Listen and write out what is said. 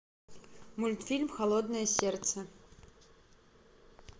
мультфильм холодное сердце